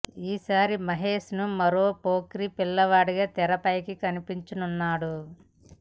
ఈ సారి మహేష్ ను మరో పోకిరి పిల్లాడిలా తెరపై కనిపించనున్నాడు